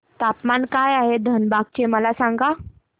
तापमान काय आहे धनबाद चे मला सांगा